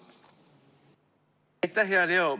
Aitäh, hea Leo!